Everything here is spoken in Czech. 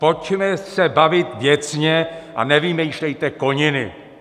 Pojďme se bavit věcně a nevymýšlejte koniny.